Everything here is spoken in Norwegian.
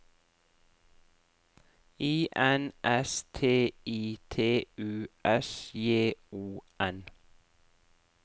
I N S T I T U S J O N